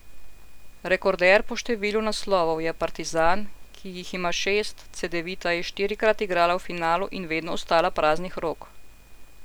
Rekorder po številu naslovov je Partizan, ki jih ima šest, Cedevita je štirikrat igrala v finalu in vedno ostala praznih rok.